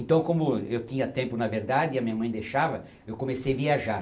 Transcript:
Então como eu tinha tempo, na verdade, e a minha mãe deixava, eu comecei viajar.